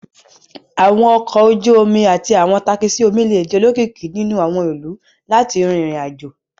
Àwọn ọkọ̀ ojú omi àti àwọn takisí omi lè di olókìkí nínú àwọn ìlú láti rin ìrìn-àjò